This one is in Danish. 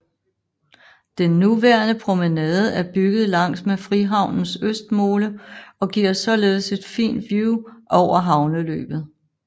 Den nuværende promenade er bygget langs med Frihavnens østmole og giver således et fint vue over havneløbet